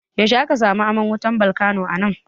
Yaushe aka samu aman wutar balkano anan?